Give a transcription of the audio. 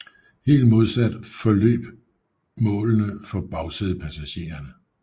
Helt modsat forløb målene for bagsædepassagererne